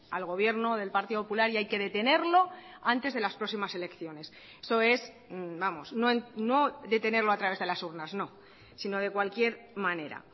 al gobierno del partido popular y hay que detenerlo antes de las próximas elecciones eso es vamos no detenerlo a través de las urnas no sino de cualquier manera